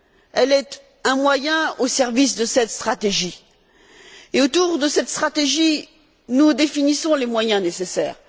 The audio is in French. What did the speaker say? Elle est un moyen au service de cette stratégie. Et autour de cette stratégie, nous définissons les moyens nécessaires.